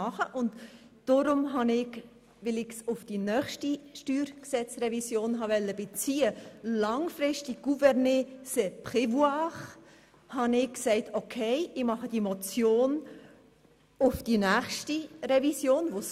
Da ich meinen Vorstoss auf die nächste Steuergesetzrevision beziehen wollte, reichte ich diese Motion im Hinblick auf die nächste Revision ein.